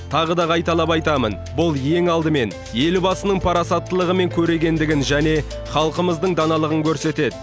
тағы да қайталап айтамын бұл ең алдымен елбасының парасаттылығы мен көрегендігін және халқымыздың даналығын көрсетеді